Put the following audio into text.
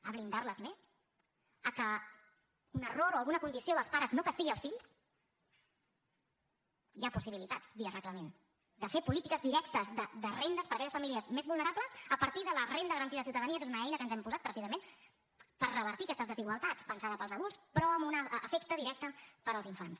a blindar les més a que un error o alguna condició dels pares no castigui els fills hi ha possibilitats via reglament de fer polítiques directes de rendes per a aquelles famílies més vulnerables a partir de la renda garantida de ciutadania que és una eina que ens hem posat precisament per revertir aquestes desigualtats pensada per als adults però amb un efecte directe per als infants